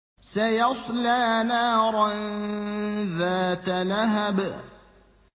سَيَصْلَىٰ نَارًا ذَاتَ لَهَبٍ